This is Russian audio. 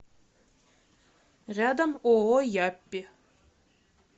рядом ооо яппи